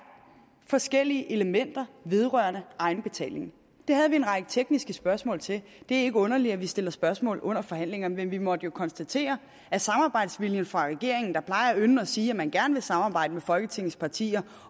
forskellige elementer vedrørende egenbetaling det havde vi en række tekniske spørgsmål til det er ikke underligt at vi stiller spørgsmål under forhandlingerne men vi måtte jo konstatere at samarbejdsviljen fra regeringen der ynder at sige at man gerne vil samarbejde med folketingets partier